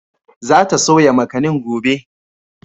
Za ta soya makanin gobe.